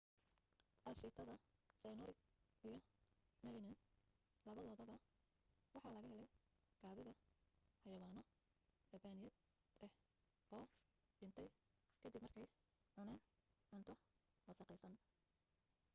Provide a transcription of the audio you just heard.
aashiitada cyanuric iyo melamin labadoodaba waxa laga helay kaadida xaywawaano rabbaayad ah oo dhintay ka dib markay cuneen cunto wasakhaysan